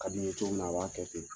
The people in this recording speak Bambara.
Ka d'i ye cogo min na, a b'a kɛ ten.